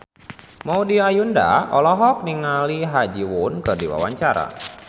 Maudy Ayunda olohok ningali Ha Ji Won keur diwawancara